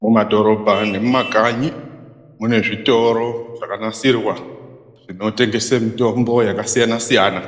Mumadhorobha nemumakanyi mune zvitoro zvakanasirwa zvinotengese mitombo yakasiyana-siyana.